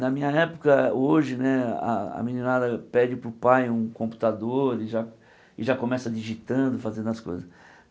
Na minha época, hoje né, a a meninada pede para o pai um computador e já e já começa digitando, fazendo as coisas.